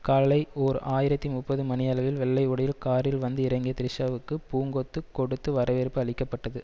காலை ஓர் ஆயிரத்தி முப்பது மணி அளவில் வெள்ளை உடையில் காரில் வந்து இறங்கிய த்ரிஷாவுக்கு பூங்கொத்து கொடுத்து வரவேற்பு அளிக்க பட்டது